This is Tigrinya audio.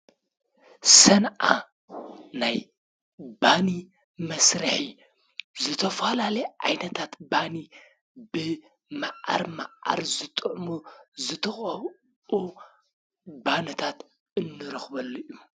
ቤት ምግብን መስተን ሰባት ንምብላዕን ንምስታይን ዝኸዱ ቦታታት እዮም። ኣብኡ ዝተፈላለዩ ምግብን መስተንን ይቐርቡ። እዞም ቦታታት ማሕበራዊ ግንኙነት ንምግንባርን ሰባት ክተሓላለፉን ይሕግዙ።